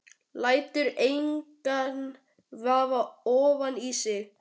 Lætur engan vaða ofan í sig.